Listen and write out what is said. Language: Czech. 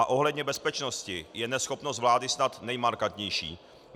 A ohledně bezpečnosti je neschopnost vlády snad nejmarkantnější.